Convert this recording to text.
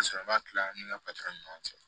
kila an ni ni ɲɔgɔn cɛ